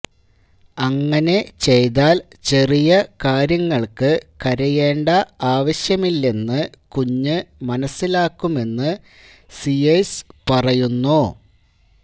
അങ്ങനെ ചെയ്താൽ ചെറിയ കാര്യങ്ങൾക്ക് കരയേണ്ട ആവശ്യമില്ലെന്നു കുഞ്ഞ് മനസ്സിലാക്കുമെന്ന് സീയേഴ്സ് പറയുന്നു